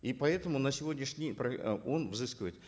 и поэтому на сегодняшний день он взыскивает